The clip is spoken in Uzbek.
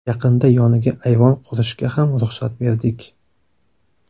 Yaqinda yoniga ayvon qurishga ham ruxsat berdik.